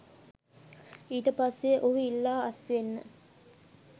ඊට පස්සේ ඔහු ඉල්ලා අස්වෙන්න